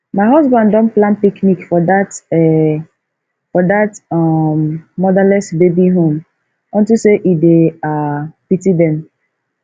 my husband don plan picnic for dat um for dat um motherless baby home unto say e dey um pity dem